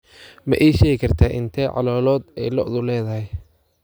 Ma ii sheegi kartaa inta caloolood ee lo'du leedahay?